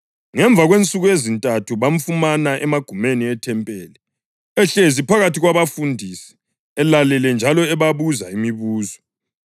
Ngemva kwensuku ezintathu bamfumana emagumeni ethempeli ehlezi phakathi kwabafundisi elalele njalo ebabuza imibuzo.